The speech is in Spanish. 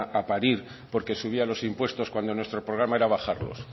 a parir porque subía los impuestos cuando nuestro programa era bajarlos